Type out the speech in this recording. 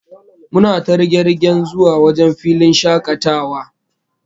Muna ta riga-rigen yjn filin shakatawa